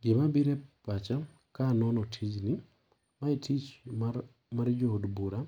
Gima biro epacha kanono tijini, mae etich mar mar jo od bura